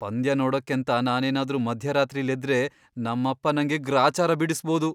ಪಂದ್ಯ ನೋಡಕ್ಕೇಂತ ನಾನೇನಾದ್ರೂ ಮಧ್ಯರಾತ್ರಿಲ್ ಎದ್ರೆ ನಮ್ಮಪ್ಪ ನಂಗೆ ಗ್ರಾಚಾರ ಬಿಡಿಸ್ಬೋದು.